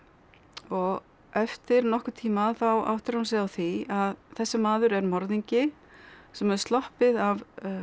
og eftir nokkurn tíma þá áttar hún sig á því að þessi maður er morðingi sem hefur sloppið af